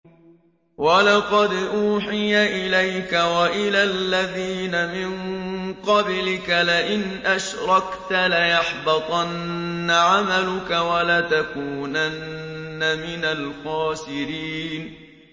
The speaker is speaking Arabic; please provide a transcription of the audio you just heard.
وَلَقَدْ أُوحِيَ إِلَيْكَ وَإِلَى الَّذِينَ مِن قَبْلِكَ لَئِنْ أَشْرَكْتَ لَيَحْبَطَنَّ عَمَلُكَ وَلَتَكُونَنَّ مِنَ الْخَاسِرِينَ